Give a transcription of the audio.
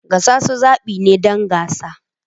Gasasu zaɓi ne don gasa.